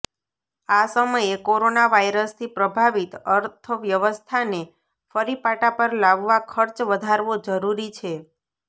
આ સમયે કોરોનાવાયરસથી પ્રભાવિત અર્થવ્યવસ્થાને ફરી પાટા પર લાવવા ખર્ચ વધારવો જરુરી છે